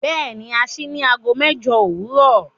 Bẹ́ẹ̀ni, à ṣìí ní àágọ́ mẹ́jọ̀ owurọ